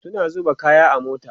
suna zuba kaya a mota